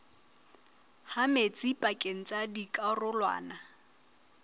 ha metsi pakeng tsa dikarolwana